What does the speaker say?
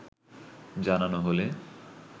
জানানো হলে